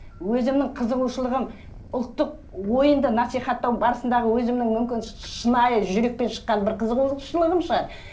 өзімнің қызығушылығым ұлттық ойынды насихаттау барысындағы өзімнің мүмкін шынайы жүректен шыққан бір қызығушылығым шығар